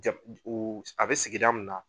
Jɛb oo s a bɛ sigida min na